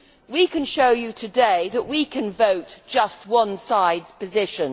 We can show you today that we can vote just one side's position.